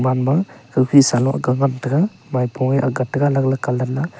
ama khaupheh sa lung agang ngan tega maipung nge agak tega alag alag colour ma.